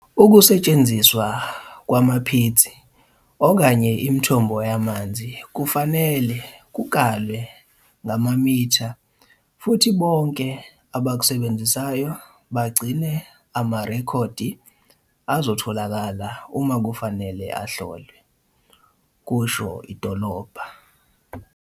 "Ukusetshenziswa kwamapitsi okanye imithombo yamanzi kufanele kukalwe ngamamitha futhi bonke abakusebenzisayo bagcine amarekhodi azotholakala uma kufanele ahlolwe," kusho idolobha.